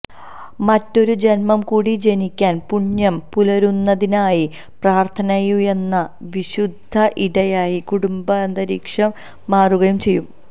മറ്റൊരു ജന്മം കൂടി ജനിക്കാൻ പുണ്യം പുലരുന്നതിനായി പ്രാർത്ഥനയുയരുന്ന വിശുദ്ധ ഇടമായി കുടുംബാന്തരീക്ഷം മാറുകയും ചെയ്യും